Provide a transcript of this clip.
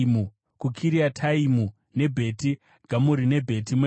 kuKiriataimu, neBheti Gamuri neBheti Meoni,